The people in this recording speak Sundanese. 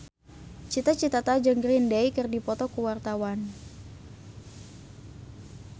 Cita Citata jeung Green Day keur dipoto ku wartawan